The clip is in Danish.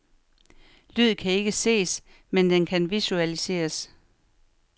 Lyd kan ikke ses, men den kan visualiseres.